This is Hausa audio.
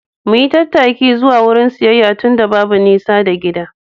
Mu yi tattaki zuwa wurin siyayya tunda babu nisa da gida.